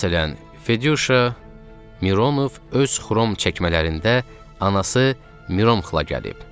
Məsələn, Fedyuşa Mironov öz xrom çəkmələrində, anası Mironovla gəlib.